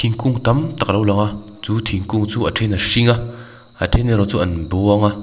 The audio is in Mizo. kung tam tak a lo lang a chu thingkung chu a then a hring a a then erawh chu an buang a.